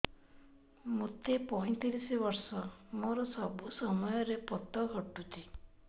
ମୋତେ ପଇଂତିରିଶ ବର୍ଷ ମୋର ସବୁ ସମୟରେ ପତ ଘଟୁଛି